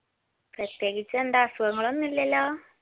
പ്രത്യേകിച്ച് എന്താ അസുഖങ്ങൾ ഒന്നുല്ലല്ലോ